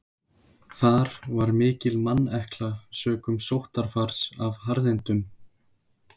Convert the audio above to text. Þar var mikil mannekla sökum sóttarfars af harðindum.